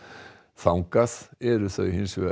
þangað eru þau hins vegar